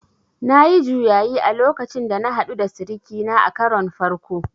Nayi juyayi a lokacin da na haɗu da sirikina a karon farko